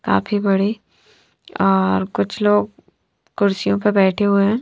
काफी बड़े और कुछ लोग कुर्सियों पर बैठे हुए--